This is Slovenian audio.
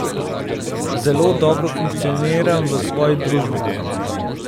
Zelo dobro funkcioniram v svoji družbi.